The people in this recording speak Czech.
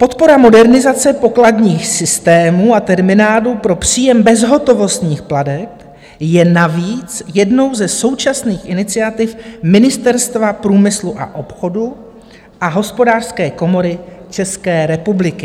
Podpora modernizace pokladních systémů a terminálů pro příjem bezhotovostních plateb je navíc jednou ze současných iniciativ Ministerstva průmyslu a obchodu a Hospodářské komory České republiky.